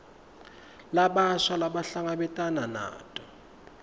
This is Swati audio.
labasha labahlangabetana nato